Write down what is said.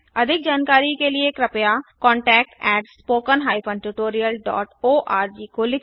अधिक जानकारी के लिए कृपया contactspoken tutorialorg को लिखे